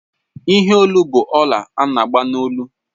Ihe Olu bụ ọlà ana-agba n'olu